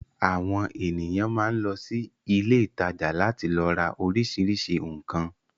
Àwọn ènìyàn máa ń lọ sí ilé-ìtajà láti lọ ra oríṣiríṣi nǹkan.